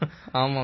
ஆமாம் சார்